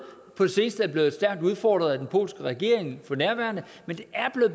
på det seneste er det blevet stærkt udfordret af den polske regering men det er